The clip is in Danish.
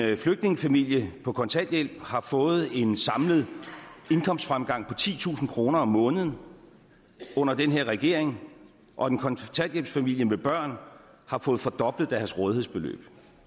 at en flygtningefamilie på kontanthjælp har fået en samlet indkomstfremgang på titusind kroner om måneden under den her regering og at en kontanthjælpsfamilie med børn har fået fordoblet deres rådighedsbeløb